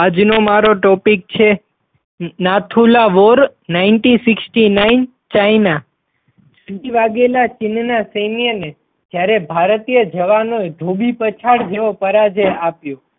આજનો મારો topic છે Nathula war ninety sixty nine China ચીન ના સૈન્યને જયારે ભારતીય જવાનોએ ધોબી પછાડ જેવો પરાજય આપ્યો.